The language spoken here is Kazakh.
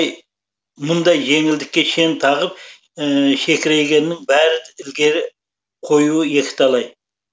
мұндай жеңілдікке шен тағып шекірейгеннің бәрі ілгері қоюы екіталай